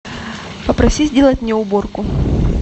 попроси сделать мне уборку